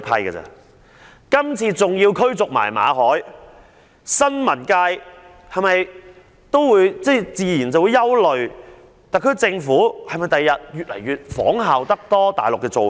對於今次馬凱被逐，新聞界自然會憂慮特區政府日後會否加倍仿效大陸的做法。